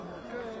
Köhnədir.